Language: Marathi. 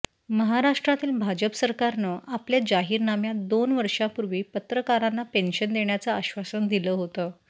महाराष्ठ्रातील भाजप सरकारनं आपल्या जाहिरनाम्यात दोन वर्षांपूर्वी पत्रकारांना पेन्शन देण्याचं आश्वासन दिलं होतं